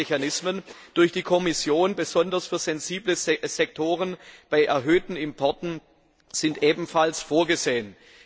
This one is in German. Überwachungsmechanismen durch die Kommission, besonders für sensible Sektoren bei erhöhten Importen, sind ebenfalls vorgesehen.